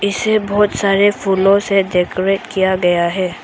इसे बहोत सारे फूलों से डेकोरेट किया गया है।